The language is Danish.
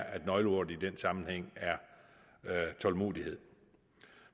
at nøgleordet i den sammenhæng er tålmodighed